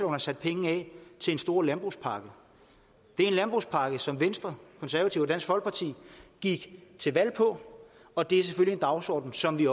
er sat penge af til en stor landbrugspakke det er en landbrugspakke som venstre konservative og dansk folkeparti gik til valg på og det er selvfølgelig en dagsorden som vi